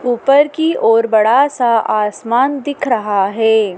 ऊपर की ओर बड़ा सा आसमान दिख रहा है।